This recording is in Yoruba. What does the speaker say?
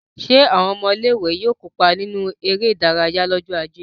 Ṣé àwọn ọmọ ilé-ìwé yóò kópa nínú eré-idárayá lọ́jọ́ ajé?